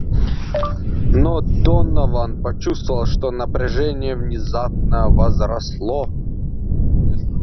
но донован почувствовал что напряжение внезапно возросло